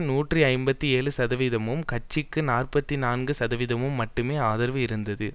நூற்றி ஐம்பத்தி ஏழு சதவீதமும் கட்சிக்கு நாற்பத்தி நான்கு சதவீதம் மட்டுமே ஆதரவு இருந்தது